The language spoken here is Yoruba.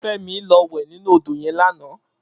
Femi lò wè ninú ódó yèn làná